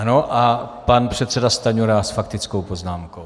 Ano, a pan předseda Stanjura s faktickou poznámkou.